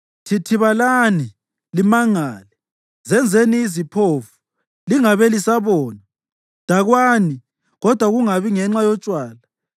Thithibalani limangale, zenzeni iziphofu lingabe lisabona; dakwani kodwa kungabi ngenxa yotshwala.